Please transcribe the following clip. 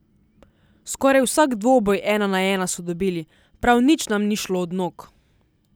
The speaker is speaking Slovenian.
Skoraj vsak dvoboj ena na ena so dobili, prav nič nam ni šlo od nog.